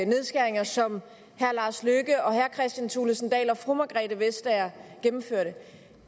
nedskæringer som herre lars løkke rasmussen herre kristian thulesen dahl og fru margrethe vestager gennemførte